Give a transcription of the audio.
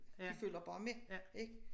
De følger bare med ik